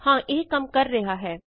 ਹਾਂ ਇਹ ਕੰਮ ਕਰ ਰਿਹਾ ਹੈ